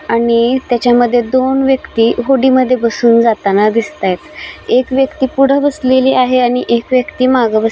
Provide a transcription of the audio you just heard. आणि त्याच्या मध्ये दोन व्यक्ती होडी मध्ये बसून जाताना दिसतायेत एक व्यक्ती पुढ बसलेले आहे आणि एक व्यक्ती माग बस --